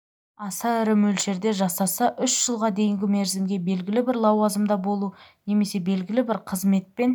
аса ірі мөлшерде жасаса үш жылға дейінгі мерзімге белгілі бір лауазымда болу немесе белгілі бір қызметпен